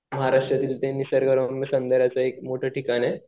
महाराष्ट्रातील निसर्गरम्य सौंदर्याचं एक ठिकाण आहे.